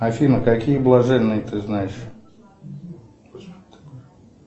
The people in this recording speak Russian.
афина какие блаженные ты знаешь